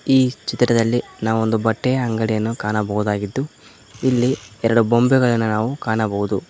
ಈ ಚಿತ್ರದಲ್ಲಿ ನಾವು ಒಂದು ಬಟ್ಟೆಯ ಅಂಗಡಿಯನ್ನು ಕಾಣಬಹುದಾಗಿದ್ದು ಇಲ್ಲಿ ಎರಡು ಬೋಂಬೆಗಳನ್ನು ನಾವು ಕಾಣಬಹುದು.